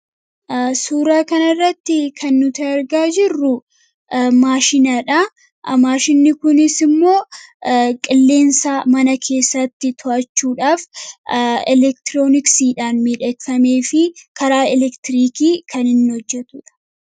suuraa kanarratti kan nuti argaa jirru maashinaadha maashinni kunis immoo qilleensa mana keessatti to'achuudhaaf elektirooniksiidhaan midheeffamee fi karaa elektiriikii kan hin hojjetu dha